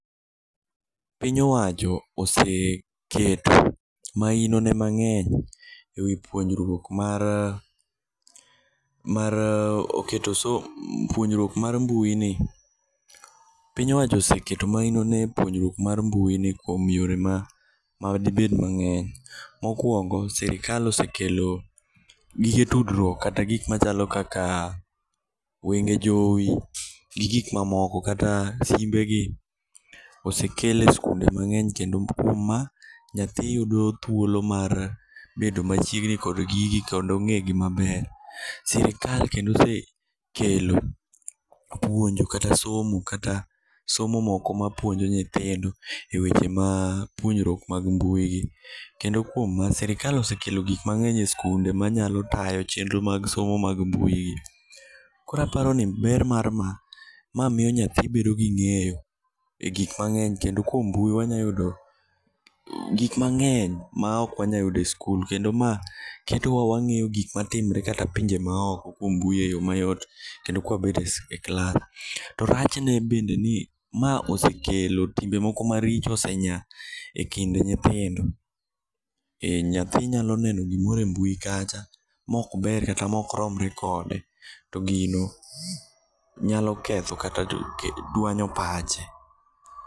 Piny owacho oseketo mahinone mang'eny e wi puonjruok mar mbuini kuom yore madibed mang'eny. Mokwongo sirikal osekelo gige tudruok kata gik machalo kaka wenge jowi gi gik mamoko kata simbegi osekel e skunde mang'eny kendo uma nyathi yudo thuolo mar bedo machiegni kod gigi kendo ng'egi maber. Sirikal kendo osekelo puonj kata somo kata somo moko ma puonjo nyithindo e weche ma puonjruok mag mbuigi kendo ma sirikal osekelo gikmang'eny e skunde manyalo tayo chenro mag somo mag mbuigi. Koro aparo ni ber mar ma ma miyo nyathio bedo gi ng'eyo e gikmang'eny kendo kuom mbui wanya yudo gikmang'eny maok wanyuayudo e skul kendo ma ketowa wang'eyo gikmatimre kata pinje maoko kuom mbui e yo mayot kendo ka wabet e klas. To rachne bende ni ma osekelo timbe moko maricho osenya e kind nyithindo e nyathi nyalo neno gimoro e mbui kacha mokber kata mokromre kode to gino nyalo ketho kata dwanyo pache.